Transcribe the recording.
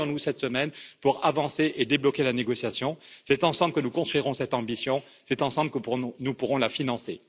Revoyons nous cette semaine pour avancer et débloquer la négociation. C'est ensemble que nous construirons cette ambition et c'est ensemble que nous pourrons la financer!